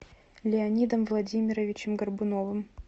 леонидом владимировичем горбуновым